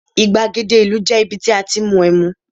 igbagede ìlú je ibi tí a ti n mu em